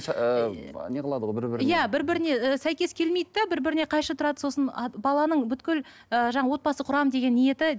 ыыы неғылады ғой бір бірін иә бір біріне ы сәйкес келмейді де бір біріне қайшы тұрады сосын баланың ыыы жаңа отбасын құрамын деген ниеті